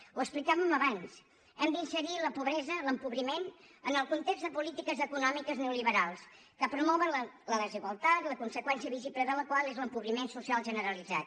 ho explicàvem abans hem d’inserir la pobresa l’empobriment en el context de polítiques econòmiques neolliberals que promouen la desigualtat la conseqüència visible de la qual és l’empobriment social generalitzat